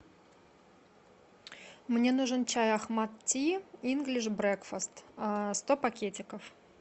мне нужен чай ахмад ти инглиш брекфаст сто пакетиков